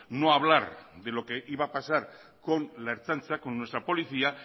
no hablar de lo que iba a pasar con la ertzaintza con nuestra policía